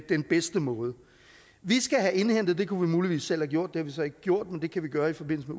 den bedste måde vi skal have indhentet det kunne vi muligvis selv have gjort det har vi så ikke gjort men det kan vi gøre i forbindelse